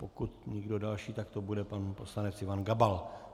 Pokud nikdo další, tak to bude pan poslanec Ivan Gabal.